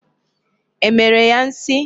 E mere ya nsi?